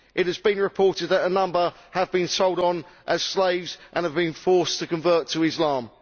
It has been reported that a number have been sold on as slaves and have been forced to convert to Islam.